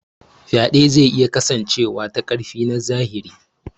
Faɗe zai iya kasancewa ta ƙarfi na zahiri.